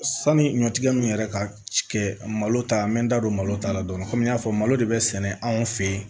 Sani ɲɔtigɛ nunnu yɛrɛ ka kɛ malo ta n bɛ n da don malo ta la dɔɔni komi n y'a fɔ malo de be sɛnɛ anw fɛ yen